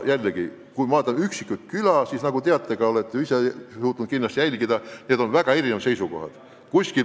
Jällegi, kui vaadata üksikuid külasid, siis nagu teate – olete ise ka jõudnud kindlasti jälgida –, seisukohad on väga erinevad.